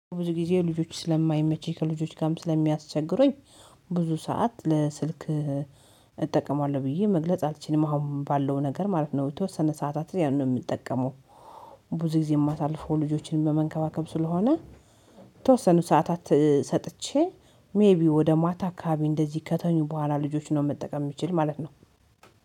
ብዙ ጊዜ ልጆች ስለማይመችኝ ከልጆች ጋርም ስለሚያስቸግረኝ ብዙ ሰዓት ለስልክ እጠቀማለሁ ብዬ መግለጽ አልችልም አሁን ባለው ነገር ማለት ነው፤ የተወሰነ ሰዓታት ያን ነው የምጠቀመው፤ ብዙ ጊዜ የማሳልፈው ልጆችን በመንከባከብ ስለሆነ የተወሰኑ ሰዓታት ሰጥቼ ሜይቢ ወደ ማታ አካባቢ እንደዚህ ከተኙ በኋላ ልጆች ነው መጠቀም የሚችል ማለት ነው።